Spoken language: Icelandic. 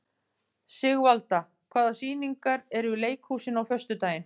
Sigvalda, hvaða sýningar eru í leikhúsinu á föstudaginn?